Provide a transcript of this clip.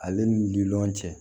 Ale ni lili cɛ